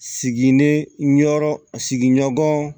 Siginiyɔrɔ sigiɲɔgɔn